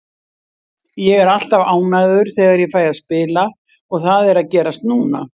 Ég er alltaf ánægður þegar ég fæ að spila og það er að gerast núna.